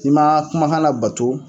I ma kumakan labato